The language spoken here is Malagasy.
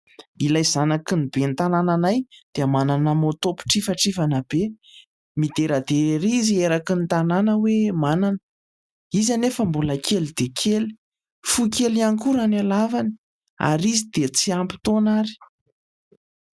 Ilay zanaky ny ben'ny tanàna anay dia manana moto mpitrifatrifana be. Mideradera ery izy eraky ny tanàna hoe manana. Izy anefa mbola kely dia kely, Fohy kely koa raha ny halavany ary izy dia tsy ampy taona ary.